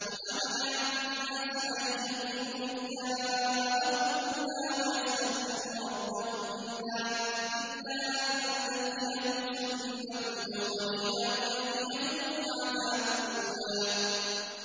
وَمَا مَنَعَ النَّاسَ أَن يُؤْمِنُوا إِذْ جَاءَهُمُ الْهُدَىٰ وَيَسْتَغْفِرُوا رَبَّهُمْ إِلَّا أَن تَأْتِيَهُمْ سُنَّةُ الْأَوَّلِينَ أَوْ يَأْتِيَهُمُ الْعَذَابُ قُبُلًا